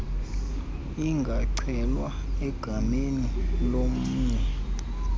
ingacelwa egameni lomnye